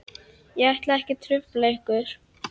Ég ætla ekki að trufla ykkur.